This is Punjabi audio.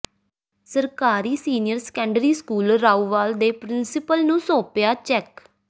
ਸਰਕਾਰੀ ਸੀਨੀਅਰ ਸੈਕੰਡਰੀ ਸਕੂਲ ਰਾਊਵਾਲ ਦੇ ਪਿ੍ਰੰਸੀਪਲ ਨੂੰ ਸੌਂਪਿਆ ਚੈੱਕ